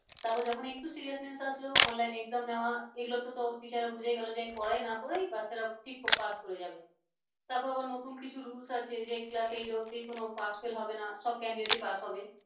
তারপর যখন একটু seriousness আসলো online নে exam নেওয়া এগুলোতে তো teacher রা বুঝেই গেল যে আমি পড়াই না পড়াই বাচ্চারা ঠিক pass করে যাবে তারপর আবার নতুন কিছু rules আছে যে class এইট অব্দি কোন pass fail হবে না সব candidate pass হবে